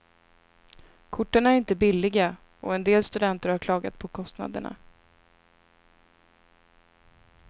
Korten är inte billiga och en del studenter har klagat på kostnaderna.